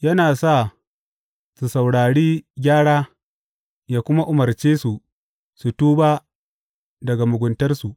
Yana sa su saurari gyara yă kuma umarce su su tuba daga muguntarsu.